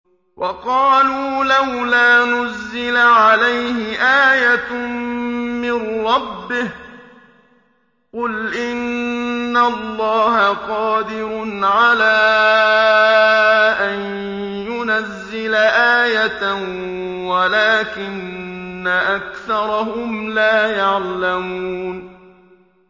وَقَالُوا لَوْلَا نُزِّلَ عَلَيْهِ آيَةٌ مِّن رَّبِّهِ ۚ قُلْ إِنَّ اللَّهَ قَادِرٌ عَلَىٰ أَن يُنَزِّلَ آيَةً وَلَٰكِنَّ أَكْثَرَهُمْ لَا يَعْلَمُونَ